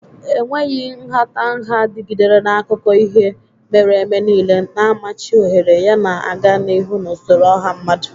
Enweghị nhatanha dịgidere n'akụkọ ihe mere eme niile, na-amachi ohere yana na-aga n'ihu n'usoro ọha mmadụ.